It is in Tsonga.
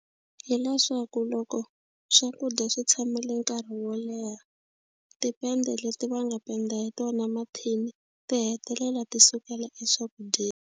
Hileswaku loko swakudya swi tshamile nkarhi wo leha tipenda leti va nga penda hi tona mathini ti hetelela ti sukela eswakudyeni.